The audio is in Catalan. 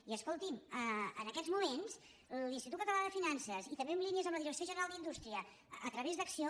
i escolti’m en aquests moments l’institut català de finances i també amb línies amb la direcció general d’indústria a través d’acció